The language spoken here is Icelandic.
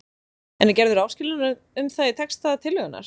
En er gerður áskilnaður um það í texta tillögunnar?